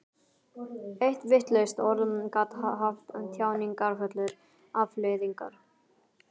Eitt vitlaust orð gat haft þjáningarfullar afleiðingar.